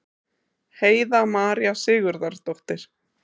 Heiða María Sigurðardóttir.